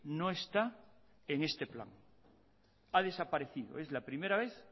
no está en este plan ha desaparecido es la primera vez